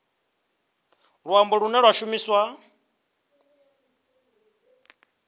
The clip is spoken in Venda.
luambo lune lwa shumiswa u